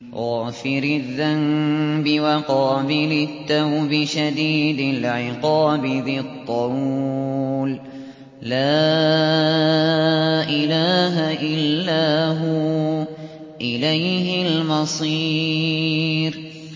غَافِرِ الذَّنبِ وَقَابِلِ التَّوْبِ شَدِيدِ الْعِقَابِ ذِي الطَّوْلِ ۖ لَا إِلَٰهَ إِلَّا هُوَ ۖ إِلَيْهِ الْمَصِيرُ